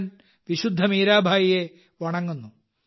ഞാൻ വിശുദ്ധ മീരാഭായിയെ വണങ്ങുന്നു